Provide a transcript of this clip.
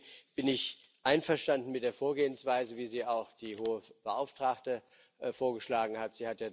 Deswegen bin ich einverstanden mit der Vorgehensweise, wie sie auch die Hohe Vertreterin vorgeschlagen hat.